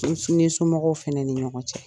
somɔgɔw fana ni ɲɔgɔn cɛ.